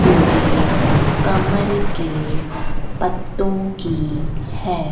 उगे कमल के पत्तों की है।